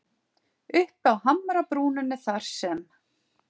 Uppi á hamrabrúninni þar sem